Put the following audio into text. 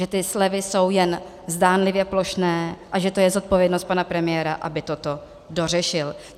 Že ty slevy jsou jen zdánlivě plošné a že to je zodpovědnost pana premiéra, aby toto dořešil.